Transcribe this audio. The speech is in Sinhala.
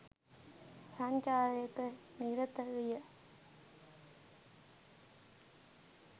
සංචාරයක නිරත විය